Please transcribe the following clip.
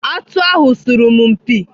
Atụ ahụ sọrọ m mpi.